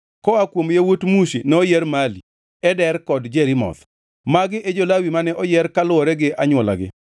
Koa kuom yawuot Mushi noyier Mali, Eder kod Jerimoth. Magi e jo-Lawi mane oyier kaluwore gi anywolagi.